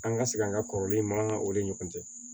An ka segin an ka kɔrɔlen in ma an ka olu ni ɲɔgɔn cɛ